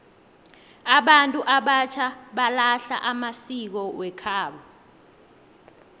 abantu abatjha balahla amasiko wekhabo